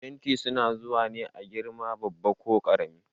Fenti su na zuwa ne a girma babba ko karami.